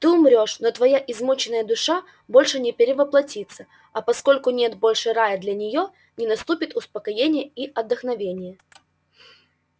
ты умрёшь но твоя измученная душа больше не перевоплотится а поскольку нет больше рая для нее не наступит успокоение и отдохновение